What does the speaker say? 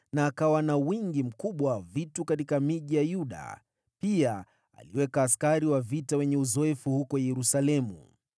na akawa na wingi mkubwa wa vitu katika miji ya Yuda. Pia aliweka askari wa vita wenye uzoefu huko Yerusalemu.